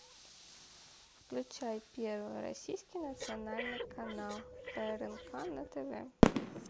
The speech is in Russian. включай первый российский национальный канал прнк на тв